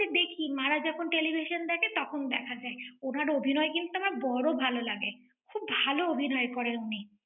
আমি তো দেখি, মা রা যখন television দেখে, তখন দেখা যায়। উনার অভিনয় কিন্তু আমার বড় ভালো লাগে। খুব ভাল অভিনয় করে উনি।